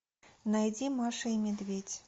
найди маша и медведь